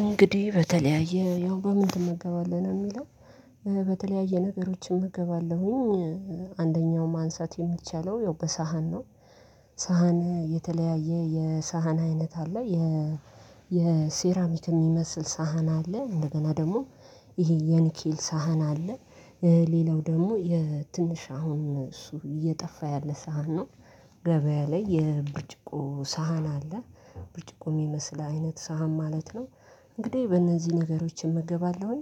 እንግዲህ በተለያየ ያው በምን ትመገባለህ የሚለው? በተለያየ ነገሮች እመገባለሁኝ አንደኛው ማንሳት የሚቻለው ያው በሳህን ነው። ሳህን የተለያየ የሳህን አይነት አለ የ የሴራሚክ የሚመስል ሳህን አለ እንደገና ደግሞ ይሄ የኒኪል ሳህን አለ። ሌላው ደግሞ የትንሽ አሁን እሱ እየጠፋ ያለ ሳህን ነው። ገበያ ላይ የብርጭቆ ሳህን አለ ብርጭቆ የሚመስል አይነት ሳህን ማለት ነው። እንግዲህ በእነዚህ ነገሮች እመገባለሁኝ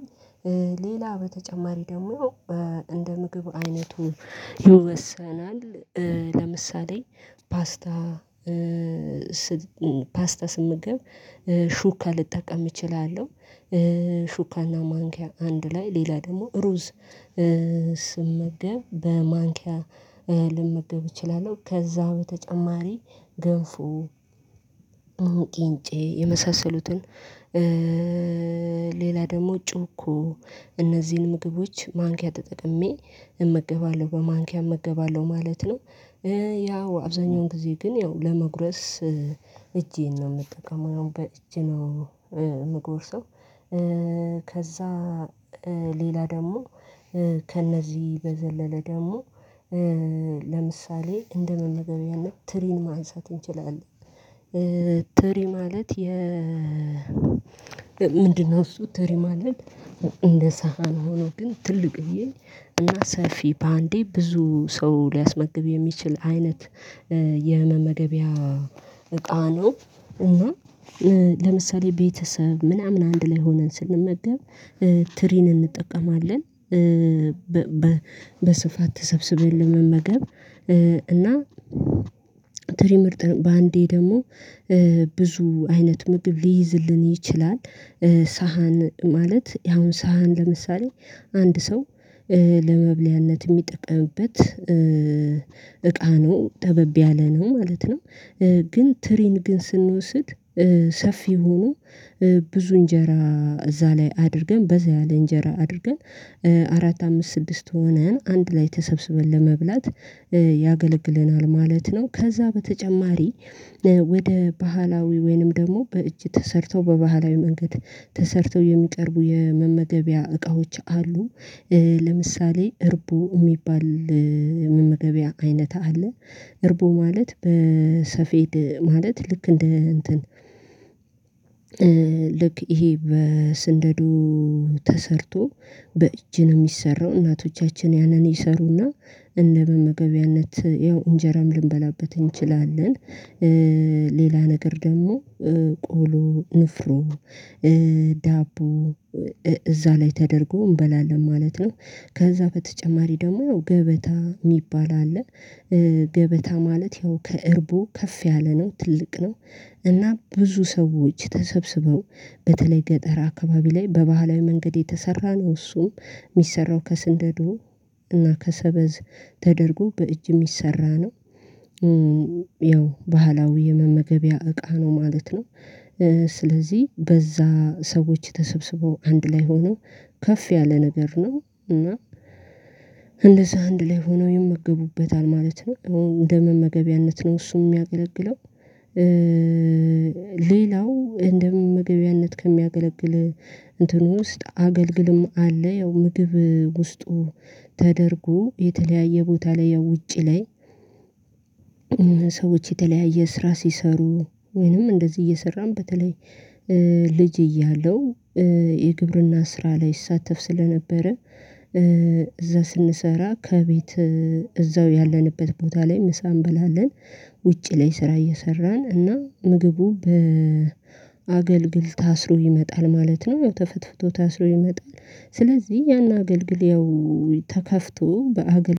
ሌላ በተጨማሪ ደግሞ እንደ ምግብ አይነቱ ይወሰናል። ለምሳሌ ፓስታ ስመግብ ሹካ ልጠቀም እችላለሁ። ሹካና ማንኪያ አንድ ላይ ሌላ ደግሞ ሩዝ ስመገብ በማንኪያ ልመገብ እችላለሁ ከዛ በተጨማሪ ገንፎ ቂንጬ የመሳሰሉትን ሌላ ደግሞ ጩኮ እነዚህን ምግቦች ማንኪያ ተጠቅሜ እመገባለሁ በማንኪያ እመገባለሁ ማለት ነው። ያው አብዛኛውን ጊዜ ግን ያው ለመጉረስ እጄን ነው የምጠቀመው በእጅ ነው። የምጎርሰው ከዛ ሌላ ደግሞ ከእነዚህ በዘለለ ደግሞ ለምሳሌ እንደመመገብያነት ትሪን ማንሳት እንችላለን። ትሪ ማለት የ ምንድነው እሱ ትሪ ማለት እንደ ሳህን ሆኖ ግን ትልቅዬ እና ሰፊ በአንዴ ብዙ ሰው ሊያስመግብ የሚችል አይነት። የመመገቢያ እቃ ነው። እና ለምሳሌ ቤተሰብ ምናምን አንድ ላይ ሆነን ስንመገብ ትሪን እንጠቀማለን። በስፋት ተሰብስበን ለመመገብ እና ትሪ ምርጥ ነው በአንዴ ደግሞ ብዙ አይነት ምግብ ሊይዝልን ይችላል። ሳህን ማለት አሁን ሳህን ለምሳሌ አንድ ሰው ለመብልያነት የሚጠቀሙበት እቃ ነው ጠበብ ያለ ነው ማለት ነው። ግን ትሪን ግን ስንወስድ ሰፊ ሆኖ ብዙ እንጀራ እዛ ላይ አድርገን በዛ ያለ እንጀራ አድርገን አራት አምስት ስድስት ሆነን አንድ ላይ ተሰብስበን ለመብላት ያገለግለናል ማለት ነው። ከዛ በተጨማሪ ወደ ባህላዊ ወይንም ደግሞ በእጅ ተሰርተው በባህላዊ መንገድ ተሰርተው የሚቀርቡ የመመገቢያ እቃዎች አሉ። ለምሳሌ እርቦ የሚባል መመገቢያ አይነት አለ እርቦ ማለት በሰፌድ ማለት ልክ እንደ እንትን ልክ ይሄ በስንደዶ ተሰርቶ በእጅ ነው የሚሰራው እናቶቻችን ያንን ይሰሩና እነደ መገቢያነት ያው እንጀራም ልንበላበት እንችላለን። ሌላ ነገር ደግሞ ቆሎ ንፍሮ ዳቦ እዛ ላይ ተደርጎ እንበላለን ማለት ነው። ከዛ በተጨማሪ ደግሞ ገበታ የሚባል አለ ገበታ ማለት ያው ከእርቦ ከፍ ያለ ነው ትልቅ ነው እና ብዙ ሰዎች ተሰብስበው በተለይ ገጠር አካባቢ ላይ በባህላዊ መንገድ የተሰራ ነው እሱም የሚሰራው ከስንደዶ እና ከሰበዝ ተደርጎ በእጅ የሚሰራ ነው። ያው ባህላዊ የመመገቢያ እቃ ነው ማለት ነው። ስለዚህ በዛ ሰዎች ተሰብስበው አንድ ላይ ሆነው ከፍ ያለ ነገር ነው እና እንደዛ አንድ ላይ ሆነው ይመገቡበታል ማለት ነው። እንደመመገቢያነት ነው እሱም የሚያገለግለው ሌላው እንደመመገቢያነት ከሚያገለግል እንትን ውስጥ አገልግልም አለ ያው ምግብ ውስጡ ተደርጎ የተለያየ ቦታ ላይ ያው ውጪ ላይ ሰዎች የተለያየ ስራ ሲሰሩ ወይንም እንደዚህ እየሰራም በተለይ ልጅ እያለሁ የግብርና ስራ ላይ እሳተፍ ስለነበረ እዛ ስንሰራ ከቤት እዛው ያለንበት ቦታ ላይ ምሳ እንበላለን ውጪ ላይ ስራ እየሰራን እና ምግቡ በአገልግል ታስሮ ይመጣል ማለት ነው ተፈትፍቶ ታስሮ ይመጣል። ስለዚህ ያን አገልግልያዊ ተከፍቶ በአገልግሎት አንድ